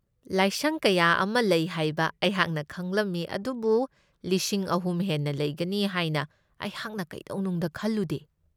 ꯂꯥꯏꯁꯪ ꯀꯌꯥ ꯑꯃ ꯂꯩ ꯍꯥꯏꯕ ꯑꯩꯍꯥꯛꯅ ꯈꯪꯂꯝꯃꯤ ꯑꯗꯨꯕꯨ ꯂꯤꯁꯤꯡ ꯑꯍꯨꯝ ꯍꯦꯟꯅ ꯂꯩꯒꯅꯤ ꯍꯥꯏꯅ ꯑꯩꯍꯥꯛꯅ ꯀꯩꯗꯧꯅꯨꯡꯗ ꯈꯜꯂꯨꯗꯦ꯫